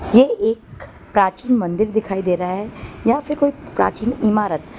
ये एक प्राचीन मंदिर दिखाई दे रहा है या फिर कोई प्राचीन इमारत।